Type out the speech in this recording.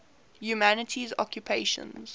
humanities occupations